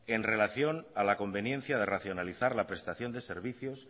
en relación a la conveniencia de racionalizar la prestación de servicios